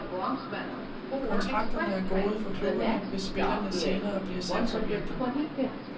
Kontrakterne er gode for klubberne, hvis spillerne senere bliver salgsobjekter.